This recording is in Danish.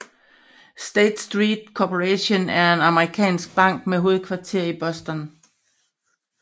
State Street Corporation er en amerikansk bank med hovedkvarter i Boston